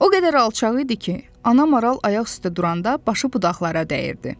O qədər alçaq idi ki, ana maral ayaq üstə duranda başı budaqlara dəyirdi.